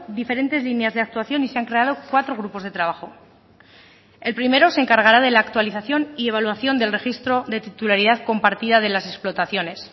diferentes líneas de actuación y se han creado cuatro grupos de trabajo el primero se encargará de la actualización y evaluación del registro de titularidad compartida de las explotaciones